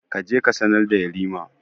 Ka je ka sanarwa da Yarima.